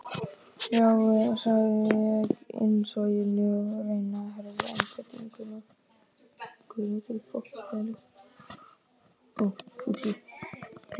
Já, segi ég á innsoginu og reyni að herða einbeitinguna.